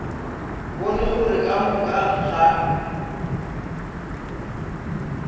bone gore ka moka ga